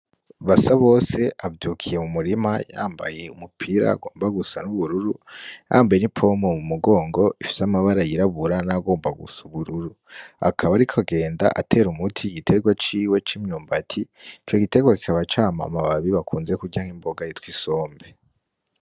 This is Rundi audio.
Basabose avyukiye mu murima yambaye umupira ugomba gusa n'ubururu, yambaye n'ipompo mu mugongo ifise amabara yirabura n'ayagomba gusa ubururu, akaba ariko agenda atera umuti igitegwa ciwe c'imyumbati, ico gitegwa kikaba cama amababi bakunze kurya nk'imboga yitwa isombe.